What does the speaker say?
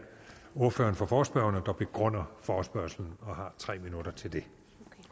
ordføreren for forespørgerne der begrunder forespørgslen og har tre minutter til det